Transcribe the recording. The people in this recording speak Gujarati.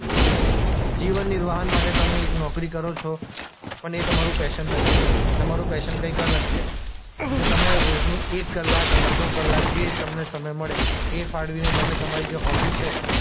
જીવન નિર્વાહન માટે તમે એક નોકરી કરો છો પણ એ તમારું પૈશન નથી તમારું પૈશન કઈંક અલગ છે તો તમે રોજનું એક કલાક અડધો કલાક જે તમને સમય મળે એ ફાળવીને તમે તમારી જે હોબી છે